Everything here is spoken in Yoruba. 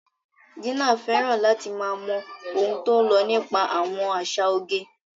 Gina fẹ́ràn láti máa mọ ohun tó ń lọ nípa àwọn àṣà oge.